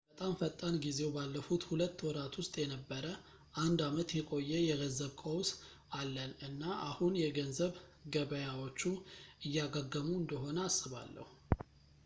በጣም ፈጣን ጊዜው ባለፉት ሁለት ወራት ውስጥ የነበረ አንድ ዓመት የቆየ የገንዘብ ቀውስ አለን እና አሁን የገንዘብ ገበያዎቹ እያገገሙ እንደሆን አስባለሁ